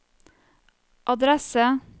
adresse